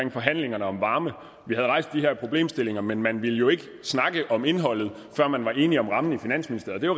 i forhandlingerne om varme vi havde rejst de her problemstillinger men man ville jo ikke snakke om indholdet før man var enige om rammen i finansministeriet